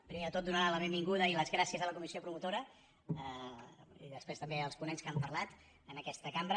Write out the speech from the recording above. primer de tot donar la benvinguda i les gràcies a la comissió promotora i després també als ponents que han parlat en aquest cambra